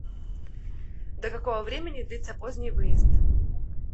до какого времени длится поздний выезд